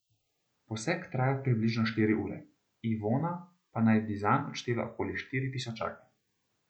Poseg traja približno štiri ure, Ivona pa naj bi zanj odštela okoli štiri tisočake.